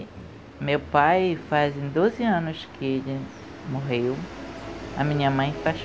E meu pai, fazem doze anos que ele morreu, a minha mãe faz